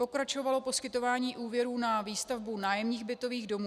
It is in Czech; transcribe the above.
Pokračovalo poskytování úvěrů na výstavbu nájemních bytových domů.